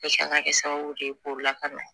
an ka kɛ sababu ye k'o lakana